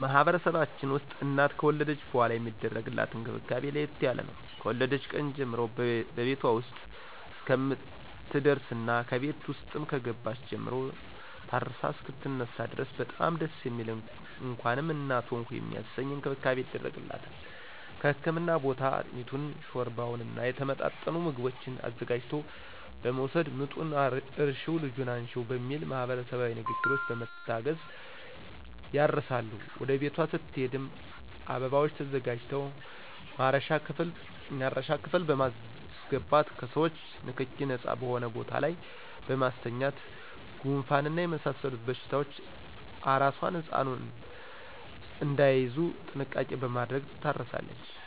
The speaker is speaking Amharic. በማህበረሰባችን ውስጥ እናት ከወለደች በኃላ የሚደረግላት እንክብካቤ ለየት ያለ ነው። ከወለደች ቀን ጀምሮ በቤቷ ውስጥ እስከምትደርስና ከቤት ውስጥም ከገባች ጀምሮ ታርሳ እሰከምትነሳ ድረስ በጣም ደስ የሚል እንኳንም እናት ሆንሁ የሚያሰኝ እንክብካቤ ይደረግላታል ከህክምና ቦታ አጥሚቱን: ሾርባውና የተመጣጠኑ ምግቦችን አዘጋጅቶ በመወሰድ ምጡን እርሽው ልጁን አንሽው በሚል ማህበረሰባዊ ንግግሮች በመታገዝ ያርሳሉ ወደ ቤቷ ስትሄድም አበባዎች ተዘጋጅተው ማረሻ ክፍል በማሰገባት ከሰዎቾ ንክኪ ነጻ በሆነ ቦታ ላይ በማስተኛት ጉንፋንና የመሳሰሉት በሽታዎች አራሷና ህጻኑ እዳይያዙ ጥንቃቄ በማድረግ ትታረሳለች